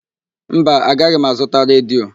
Mba, agaghị m azụta redio.